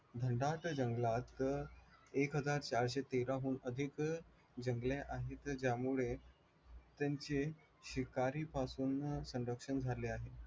घनदाट जंगलात एक हजार चारशे तेराहून अधिक त्यांचे शिकारीपासून संरक्षण झाले आहे